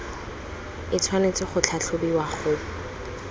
e tshwanetse go tlhatlhobiwa go